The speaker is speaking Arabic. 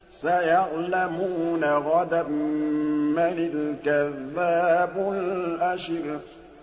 سَيَعْلَمُونَ غَدًا مَّنِ الْكَذَّابُ الْأَشِرُ